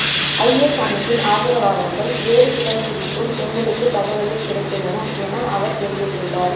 IS அமைப்பின் ஆதரவாளர்கள் வேறு சிலர் குறித்தும் எங்களுக்கு தகவல்கள் கிடைத்துள்ளன என அவர் தெரிவித்துள்ளார்